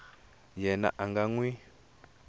yena a nga n wi